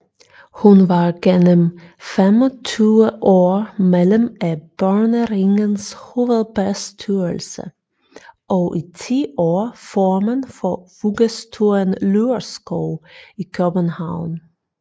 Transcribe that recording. Hun var genmem 25 år medlem af Børneringens hovedbestyrelse og i ti år formand for Vuggestuen Lyrskov i København